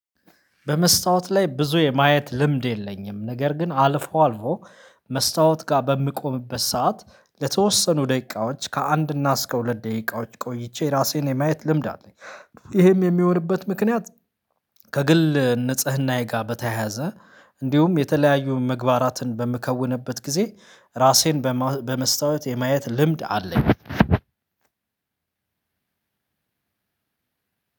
በመስታወት ላይ ብዙ የማየት ልምድ የለኝም ነገር ግን አልፎ አልፎ መስታወት ጋር በምቆምበት ሰዓት ለተወሰኑ ደቂቃዎች ከአንድ እና እስከ ሁለት ደቂቃዎች ቆይቼ ራሴን የማየት ልምድ አለኝ። ይሄም የሚሆንበት ምክንያት ከግል ንጽህናዬ ጋር በተያያዘ እንዲሁም የተለያዩ ምግባራትን በምከውንበት ጊዜ ራሴን በመስታወት የማየት ልምድ አለኝ።